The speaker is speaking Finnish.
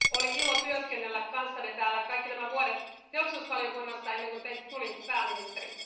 Oli ilo työskennellä kanssanne täällä kaikki nämä vuodet teollisuusvaliokunnassa, ennen kuin teistä tuli pääministeri.